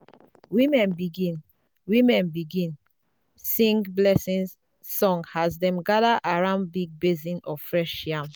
women begin women begin sing blessing song as dem gather around big basin of fresh yam.